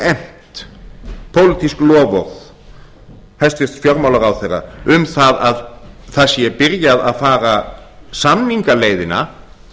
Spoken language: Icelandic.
efnt pólitísk loforð hæstvirtur fjármálaráðherra um það að það sé byrjað að fara samningaleiðina